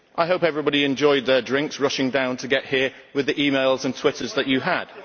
I hope everybody enjoyed their drinks, rushing down to get here with the emails and twitters that you had.